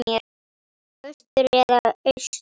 Vestur eða austur?